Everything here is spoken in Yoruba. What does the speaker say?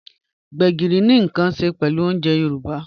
Gbegírí ni nkan ṣẹ pẹlú ọ̀unjè Yorùbá.